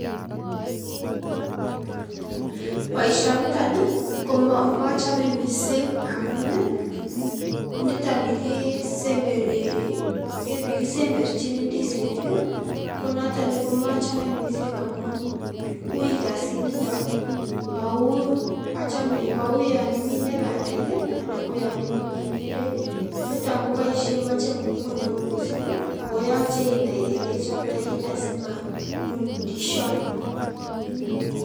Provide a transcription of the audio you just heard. Boisio niton komachame mising amun nitoni kisemberchini ndisinik, konoton komachamei mising amun uui kasinito mau yon imine bandek anan ko yon imine ngendek. Nitok koboishen machei nguvut neo mising ako yachei inai ole ichoptei asimalul ndisiot.